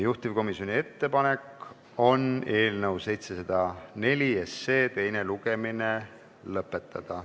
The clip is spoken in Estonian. Juhtivkomisjoni ettepanek on eelnõu 704 teine lugemine lõpetada.